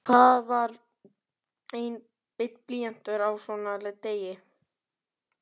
Hvað var einn blýantur á svona degi?